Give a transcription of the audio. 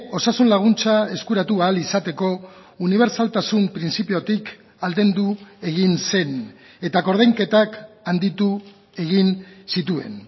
osasun laguntza eskuratu ahal izateko unibertsaltasun printzipiotik aldendu egin zen eta koordainketak handitu egin zituen